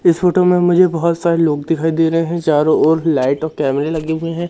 इस फोटो में मुझे बहुत सारे लोग दिखाई दे रहे हैं चारों ओर लाइट और कैमरे लगे हुए हैं।